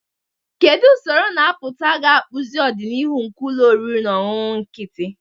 Kedu usoro na-apụta ga-akpụzi ọdịnihu nke ụlọ oriri na ọṅụṅụ nkịtị?